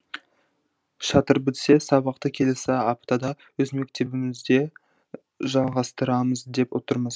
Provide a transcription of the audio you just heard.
шатыр бітсе сабақты келесі аптада өз мектебімізде жалғастырамыз деп отырмыз